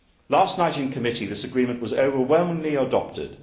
Last night in committee, this agreement was overwhelmingly adopted.